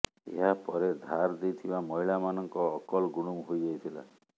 ଏହା ପରେ ଧାର ଦେଇଥିବା ମହିଳାମାନଙ୍କ ଅକଲ ଗୁଡୁମ୍ ହୋଇ ଯାଇଥିଲା